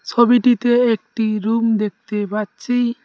-টিতে একটি রুম দেখতে পাচ্ছি।